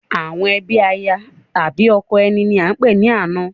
Àwọn ẹbí aya àbi ọkọ ẹni ní a ń pè ní àna